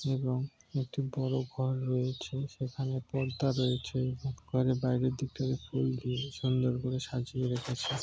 এবং একটি বড়ো ঘর রয়েছে সেখানে পর্দা রয়েছে ঘরের বাইরের দিক টাতে ফুল দিয়ে সুন্দর করে সাজিয়ে রেখেছে ।